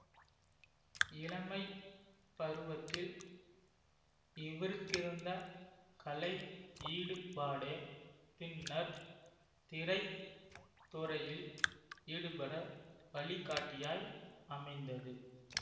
இளமை பருவத்தில் இவருக்கிருந்த கலை ஈடுபாடே பின்னர்த் திரைத் துறையில் ஈடுபட வழிகாட்டியாய் அமைந்தது